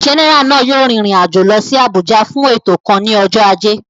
Jẹ́nẹ́rà náà yóò rin ìrìn àjò lọ sí Àbújá fún ètò kan ní ọjọ́ ajé